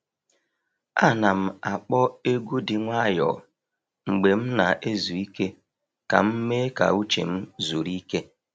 A nà'm ákpọ́ egwu dị nwayọ mgbe m na-ezu ike ka m mee ka uche m zuru ike.